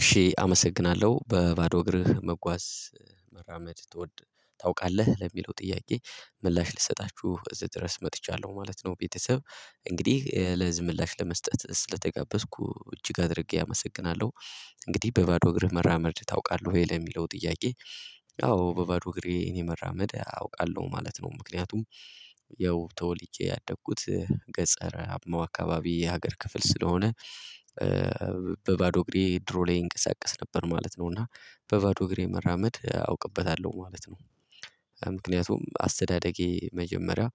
እሺ አመሰግናለሁ በባዶ እግርህ መጓዝ መራመድ ትወድ ታውቃለህ ለሚለው ጥያቄ ምላሽ ልትሰጣችሁ እዚህ ድረስ መጥቻለሁ ማለት ነው። ቤተሰብ እንግዲህ ለዚህ ምላሽ ለመስጠት ስለተጋበዝኩ እጅግ አድርጌ አመሰግናለሁ። እንግዲህ በባዶ እግርህ መራመድ ታውቃለህ ወይ ለሚለው ጥያቄ? አዎ በባዶ እግሬ እኔ መራመድ አውቃለሁ ማለት ነው። ምክንያቱም ያው ተወልጄ ያደግኩት ገጸረ አካባቢ የሀገር ክፍል ስለሆነ በባዶ እግሬ ድሮ ላይ እንቀሳቀስ ነበር ማለት ነው። እና በባዶ እግሬ መራመድ አውቅበታለሁ ማለት ነው። ምክንያቱም አስተዳደጌ መጀመሪያ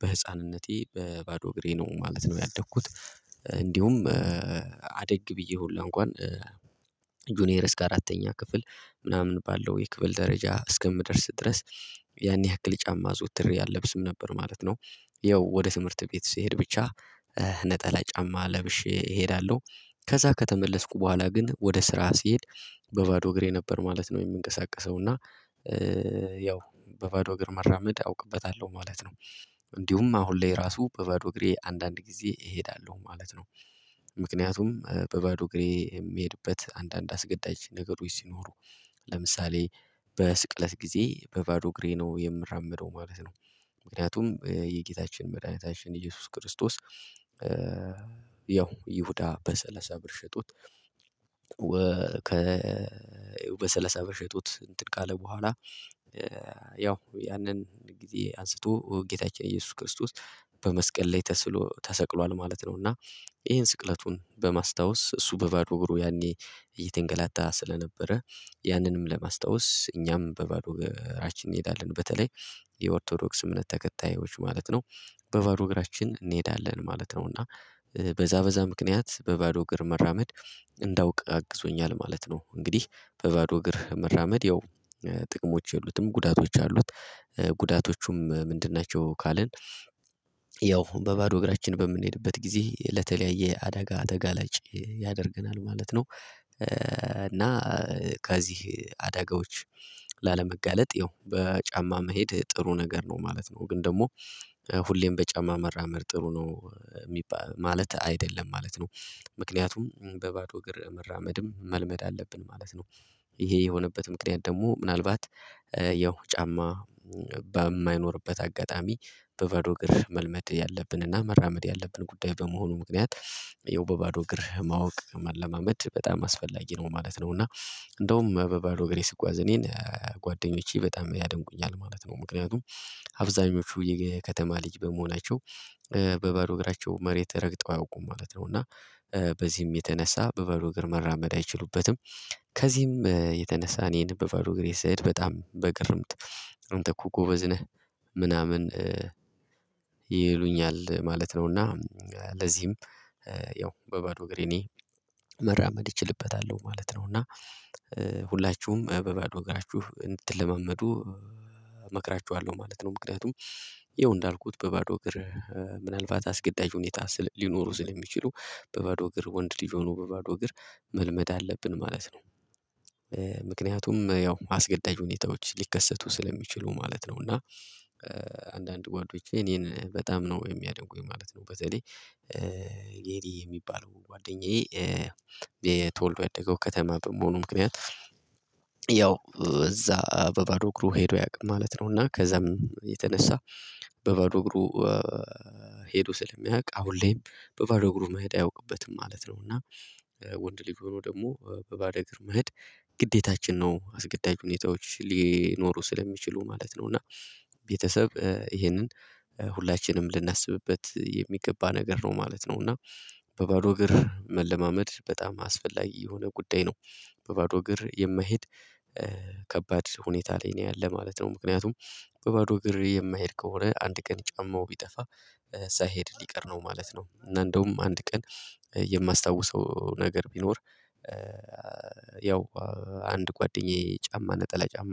በህፃንነቴ በባዶ እግሬ ነው ማለት ነው ያደኩት። እንዲሁም አደግ ብዬ ሁላ እንኳን ጁኒየር እስከ አራተኛ ክፍል ምናምን ባለው የክፍል ደረጃ እስከምደርስ ድረስ ያን ያክል ጫማ አዘወትሬ አልለብስም ነበር ማለት ነው። ያው ወደ ትምህርት ቤት ስሄድ ብቻ ነጠላ ጫማ ለብሼ እሄዳለሁ። ከዛ ከተመለስኩ በኋላ ግን ወደ ስራ ሲሄድ በባዶ እግሬ ነበር ማለት ነው። የምንቀሳቀሰው እና ያው በባዶ እግር መራመድ አውቅበታለሁ ማለት ነው። እንዲሁም አሁን ላይ ራሱ በባዶ እግሬ አንዳንድ ጊዜ እሄዳለሁ ማለት ነው። ምክንያቱም በባዶ እግሬ የሚሄድበት አንዳንድ አስገዳጅ ነገሮች ሲኖሩ ለምሳሌ በስቅለት ጊዜ በባዶ እግሬ ነው የምራመደው ማለት ነው። ምክንያቱም የጌታችን መድኃኒታችን ኢየሱስ ክርስቶስ ያው ይሁዳ በሰለሳ ብር ሽጦት ወ ከ በሰላሳ ብር ሽጦት እንትን ካለ በኋላ ያው ያንን ጊዜ አንስቶ ጌታችን ኢየሱስ ክርስቶስ በመስቀል ላይ ተስሎ ተሰቅሏል ማለት ነው። እና ይሄን ስቅለቱን በማስታወስ እሱ በባዶ እግሩ ያኔ እየተንገላታ ስለነበረ ያንንም ለማስታወስ እኛም በባዶ እግራችን እንሄዳለን በተለይ የኦርቶዶክስ እምነት ተከታዮች ማለት ነው በባዶ እግራችን እንሄዳለን ማለት ነው። እና በዛ በዛ ምክንያት በባዶ እግር መራመድ እንዳውቅ አግዞኛል ማለት ነው። እንግዲህ በባዶ እግር መራመድ ያው ጥቅሞች የሉትም ጉዳቶች አሉት። ጉዳቶቹም ምንድን ናቸው? ካልን ያው በባዶ እግራችን በምንሄድበት ጊዜ ለተለያየ አደጋ ተጋላጭ ያደርገናል ማለት ነው። እና ከዚህ አዳጋዎች ላለመጋለጥ ያው በጫማ መሄድ ጥሩ ነገር ነው ማለት ነው። ግን ደግሞ ሁሌም በጫማ መራመድ ጥሩ ነው የሚባል ማለት አይደለም ማለት ነው። ምክንያቱም በባዶ እግር መራመድም መልመድ አለብን ማለት ነው። ይሄ የሆነበት ምክንያት ደግሞ ምናልባት ያው ጫማ በማይኖርበት አጋጣሚ በባዶ እግር መልመድ ያለብንና መራመድ ያለብን ጉዳይ በመሆኑ ምክንያት ያው በባዶ እግር ማወቅ መለማመድ በጣም አስፈላጊ ነው ማለት ነው። እና እንደውም በባዶ እግሬ ስጓዝ እኔን ጓደኞቼ በጣም ያደንቁኛል ማለት ነው። ምክንያቱም አብዛኞቹ የከተማ ልጅ በመሆናቸው በባዶ እግራቸው መሬት ረግጠው አያውቁም ማለት ነው። እና በዚህም የተነሳ በባዶ እግር መራመድ አይችሉበትም። ከዚህም የተነሳ እኔን በባዶ እግሬ ስሄድ በጣም በግርምት አንተ እኮ ጎበዝ ነህ። ምናምን ይሉኛል ማለት ነው። እና ለዚህም ያው በባዶ እግሬ እኔ መራመድ እችልበታለሁ ማለት ነው። እና ሁላችሁም በባዶ እግራችሁ እንድትለማመዱ እመክራችኋለሁ ማለት ነው። ምክንያቱም ይኸው እንዳልኩት በባዶ እግር ምናልባት አስገዳጅ ሁኔታ ስለ ሊኖሩ ስለሚችሉ በባዶ እግር ወንድ ልጅ ሆኖ በባዶ እግር መልመድ አለብን ማለት ነው። ምክንያቱም ያው አስገዳጅ ሁኔታዎች ሊከሰቱ ስለሚችሉ ማለት ነው። እና አንዳንድ ጓደኞቼ እኔን በጣም ነው የሚያደንቁኝ ማለት ነው። በተለይ የሪ የሚባለው ጓደኛዬ ተወልዶ ያደገው ከተማ በመሆኑ ምክንያት ያው እዛ በባዶ እግሩ ሄዶ አያውቅም ማለት ነው። እና ከዛም የተነሳ በባዶ እግሩ ሄዶ ስለማያውቅ አሁን ላይም በባዶ እግሩ መሄድ አያውቅበትም ማለት ነው። እና ወንድ ልጅ ሆኖ ደግሞ በባዶ እግር መሄድ ግዴታችን ነው አስገዳጅ ሁኔታዎች ሊኖሩ ስለሚችሉ ማለት ነው። እና ቤተሰብ ይሄንን ሁላችንም ልናስብበት የሚገባ ነገር ነው ማለት ነው። እና በባዶ እግር መለማመድ በጣም አስፈላጊ የሆነ ጉዳይ ነው። በባዶ እግር የማይሄድ ከባድ ሁኔታ ላይ ነው ያለ ማለት ነው። ምክንያቱም በባዶ እግር የማይሄድ ከሆነ አንድ ቀን ጫማው ቢጠፋ ሳይሄድ ሊቀር ነው ማለት ነው። እና እንደውም አንድ ቀን የማስታውሰው ነገር ቢኖር ያው አንድ ጓደኛዬ ጫማ ነጠላ ጫማ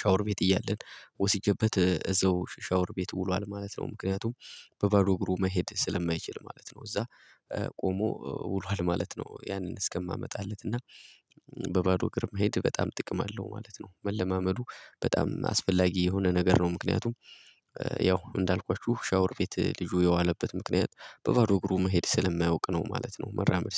ሻወር ቤት እያለን ወስጄበት እዛው ሻወር ቤት ውሏል ማለት ነው። ምክንያቱም በባዶ እግሩ መሄድ ስለማይችል ማለት ነው። እዛ ቆሞ ውሏል ማለት ነው። ያንን እስከማመጣለት እና በባዶ ግርማ መሄድ በጣም ጥቅም አለው ማለት ነው። መለማመዱ በጣም አስፈላጊ የሆነ ነገር ነው ምክንያቱም ያው እንዳልኳችሁ ሻወር ቤት ልጁ የዋለበት ምክንያት በባዶ እግሩ መሄድ ስለማያውቅ ነው ማለት ነው። መራመድ